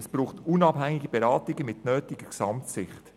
Es braucht unabhängige Beratungen aus der nötigen Gesamtsicht.